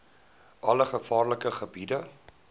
alle gevaarlike gebiede